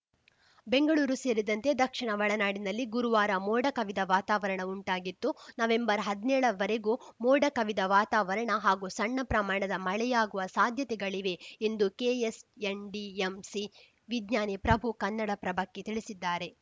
ಬೆಂಗಳೂರು ಸೇರಿದಂತೆ ದಕ್ಷಿಣ ಒಳನಾಡಿನಲ್ಲಿ ಗುರುವಾರ ಮೋಡ ಕವಿದ ವಾತಾವರಣ ಉಂಟಾಗಿತ್ತು ನವೆಂಬರ್ ಹದ್ನೇಳ ವರೆಗೂ ಮೋಡ ಕವಿದ ವಾತಾವರಣ ಹಾಗೂ ಸಣ್ಣ ಪ್ರಮಾಣದ ಮಳೆಯಾಗುವ ಸಾಧ್ಯತೆಗಳಿವೆ ಎಂದು ಕೆಎಸ್‌ಎನ್‌ಡಿಎಂಸಿ ವಿಜ್ಞಾನಿ ಪ್ರಭು ಕನ್ನಡಪ್ರಭಕ್ಕೆ ತಿಳಿಸಿದ್ದಾರೆ